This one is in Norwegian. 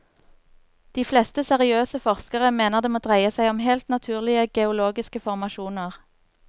De fleste seriøse forskere mener det må dreie seg om helt naturlige, geologiske formasjoner.